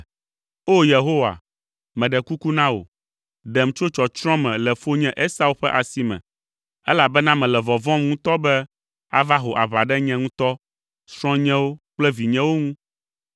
O, Yehowa, meɖe kuku na wò, ɖem tso tsɔtsrɔ̃ me le fonye Esau ƒe asi me, elabena mele vɔvɔ̃m ŋutɔ be ava ho aʋa ɖe nye ŋutɔ, srɔ̃nyewo kple vinyewo ŋu.